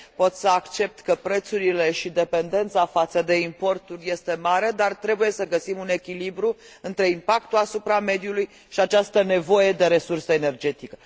Pot să accept că prețurile și dependența față de importuri sunt mari, dar trebuie să găsim un echilibru între impactul asupra mediului și această nevoie de resurse energetice.